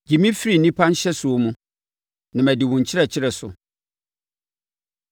Gye me firi nnipa nhyɛsoɔ mu, na madi wo nkyerɛkyerɛ so.